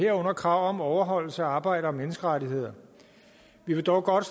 herunder krav om overholdelse af arbejder og menneskerettigheder vi vil dog godt